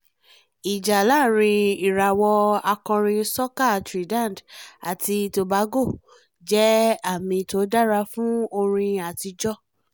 ìjà láàárín ìrawọ́ akọrin sọca trinidad àti tobago jẹ́ àmì tí ó dára fún orin àtijọ́